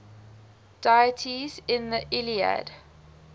deities in the iliad